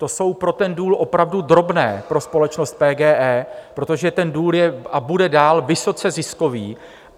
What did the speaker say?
To jsou pro ten důl opravdu drobné, pro společnost PGE, protože ten důl je a bude dál vysoce ziskový.